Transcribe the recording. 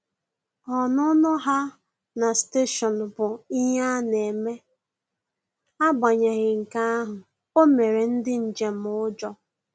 Ọnụnọ ha na stationu bụ ihe ana eme, agbanyeghi nke ahụ, o mere ndị njem ujọ